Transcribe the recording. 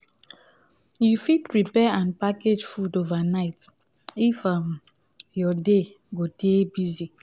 you fit prepare and package food overnight if um your day go dey busy